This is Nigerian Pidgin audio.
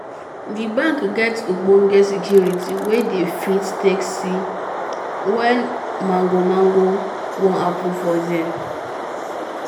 d bank get ogbonge security wey dey fit take see wen mango mango wan happen for there